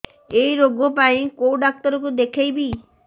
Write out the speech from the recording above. ଏଇ ରୋଗ ପାଇଁ କଉ ଡ଼ାକ୍ତର ଙ୍କୁ ଦେଖେଇବି